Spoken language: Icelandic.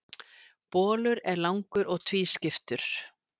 Bolur er langur og tvískiptur.